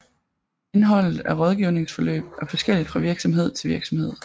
Indholdet af rådgivningsforløb er forskelligt fra virksomhed til virksomhed